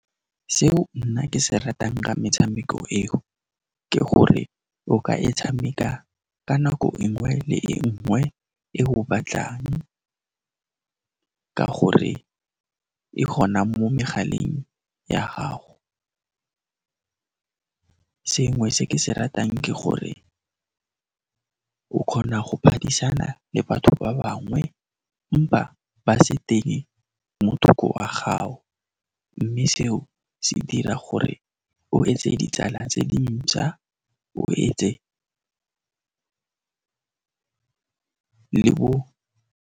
Seo nna ke se ratang ka metshameko eo, ke gore o ka e tshameka ka nako e nngwe le e nngwe e o batlang ka gore e gona mo megaleng ya gago. Sengwe se ke se ratang ke gore o kgona go phadisana le batho ba bangwe ba se teng mo thoko ga gago, mme seo se dira gore o etse ditsala tse dintšha, o etse le bo.